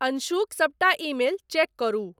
अंशुक सबटा email check करु ।